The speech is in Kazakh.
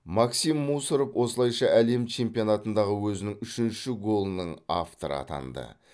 максим мусоров осылайша әлем чемпионатындағы өзінің үшінші голының авторы атанды